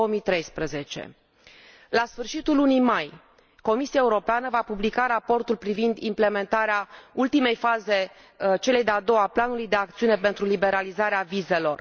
2013. La sfârșitul lunii mai, Comisia va publica raportul privind implementarea ultimei faze, cea de a doua, a planului de acțiune pentru liberalizarea vizelor.